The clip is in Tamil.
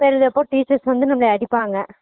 பேர் எழுதி வைப்போம் teachers வந்து நம்மள அடிப்பாங்க